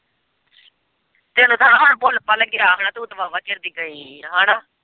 ਤੈਨੂੰ ਤਾਂ ਹੈਨਾ ਹੁਣ ਭੁੱਲ-ਭਾਲ ਗਿਆ ਹੁਣਾ ਤੂੰ ਤਾਂ ਵਾਹ-ਵਾਹ ਚਿਰ ਦੀ ਗਈ ਆ ਹੈਨਾ।